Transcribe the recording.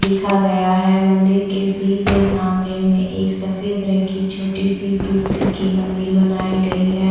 लिखा गया है मंदिर के सीधे सामने में एक सफ़ेद रंग की छोटी सी तुलसी की मंदिर बनाई गई है।